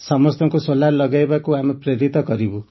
ସମସ୍ତଙ୍କୁ ସୋଲାର ଲଗାଇବାକୁ ଆମେ ପ୍ରେରିତ କରିବୁ